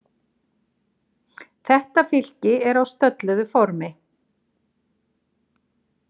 Þetta fylki er á stölluðu formi.